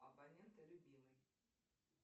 абонента любимый